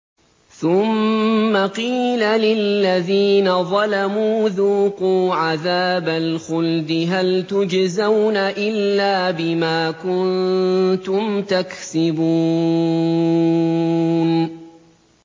ثُمَّ قِيلَ لِلَّذِينَ ظَلَمُوا ذُوقُوا عَذَابَ الْخُلْدِ هَلْ تُجْزَوْنَ إِلَّا بِمَا كُنتُمْ تَكْسِبُونَ